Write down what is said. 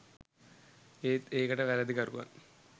ඒත් ඒකට වැරදිකරුවන්